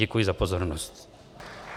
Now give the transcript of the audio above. Děkuji za pozornost.